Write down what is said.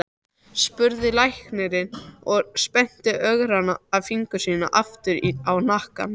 spurði læknirinn og spennti örgranna fingur sína aftur á hnakka.